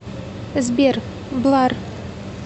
сбер блар